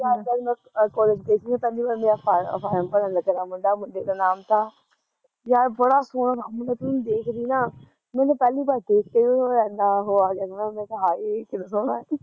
ਜਦ ਮੈਂ ਕੋਲੇਜ ਗਈ ਥੀ ਪਹਿਲੀ ਵਾਰ, ਮੇਰਾ ਫ਼ਾਰਮ ਫ਼ਾਰਮ ਭਰਨ ਲੱਗਿਆ ਤਾ ਮੁੰਡਾ, ਮੁੰਡੇ ਦਾ ਨਾਮ ਤਾ ਯਾਰ ਬੜਾ ਸੋਹਣਾ ਤਾ ਮੁੰਡਾ ਜੇ ਤੂੰ ਉਹਨੂੰ ਦੇਖਦੀ ਨਾ ਮੈਨੂੰ ਪਹਿਲੀ ਵਾਰ ਓਹਨੂੰ ਦੇਖ ਕੇ ਓਹਨੂੰ ਏਨਾਂ ਆ ਗਿਆ ਤਾ ਮੈਂ ਕਿਹਾ ਹਾਏ ਕਿੰਨਾ ਸੋਹਣਾ ਐ